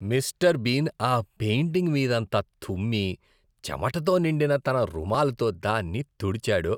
Mister Bean ఆ painting మీదంతా తుమ్మి, చెమటతో నిండిన తన రుమాలుతో దాన్ని తుడిచాడు.